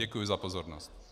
Děkuji za pozornost.